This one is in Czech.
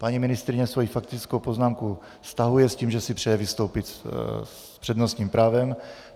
Paní ministryně svoji faktickou poznámku stahuje s tím, že si přeje vystoupit s přednostním právem.